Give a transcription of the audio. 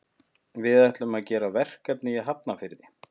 Við ætlum að gera verkefni í Hafnarfirði.